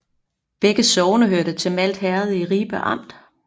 Begge sogne hørte til Malt Herred i Ribe Amt